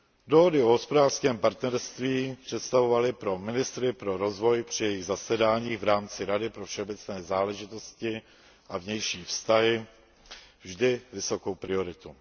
Dohody o hospodářském partnerství představovaly pro ministry pro rozvoj při jejich zasedáních v rámci Rady pro všeobecné záležitosti a vnější vztahy vždy vysokou prioritu.